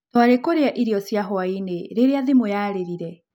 Twarĩ kũrĩa irio cia hwaĩ-inĩ rĩrĩa thimũ yarĩrire.